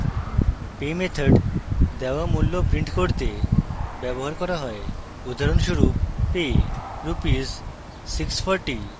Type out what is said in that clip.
pay method দেওয়া মূল্য print করতে ব্যবহার করা pay উদাহরণস্বরূপ: pay rs 640